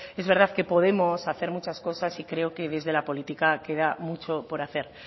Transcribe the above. es verdad que podemos hacer muchas cosas y creo que desde la política queda mucho que hacer